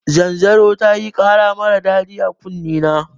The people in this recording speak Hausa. Zanzaror tayi kara marar daɗi a kunne na